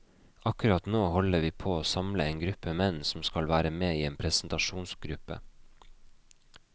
Akkurat nå holder vi på å samle en gruppe menn som skal være med i en presentasjongruppe.